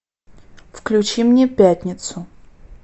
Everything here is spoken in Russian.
включи мне пятницу